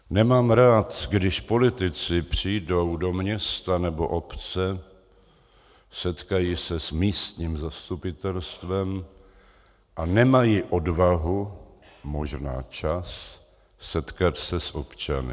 Nemám rád, když politici přijdou do města nebo obce, setkají se s místním zastupitelstvem a nemají odvahu, možná čas, setkat se s občany.